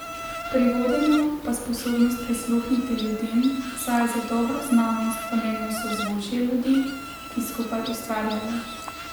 Pri vodenju pa sposobnost prisluhniti ljudem, saj je za dobro znanost pomembno sozvočje ljudi, ki skupaj ustvarjajo.